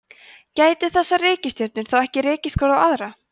gætu þessar reikistjörnur þá ekki rekist hver á aðra